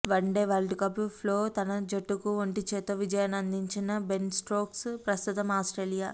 one day వరల్డ్కప్లో తన జట్టుకు ఒంటి చేత్తో విజయాన్నందించిన బెన్ స్టోక్స్ ప్రస్తుతం ఆస్ట్రేలియా